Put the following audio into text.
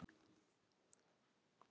Ekki það, nei?